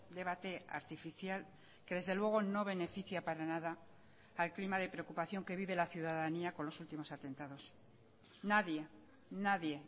debate artificial que desde luego no beneficia para nada al clima de preocupación que vive la ciudadanía con los últimos atentados nadie nadie